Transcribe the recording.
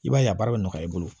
I b'a ye a baara bɛ nɔgɔya i bolo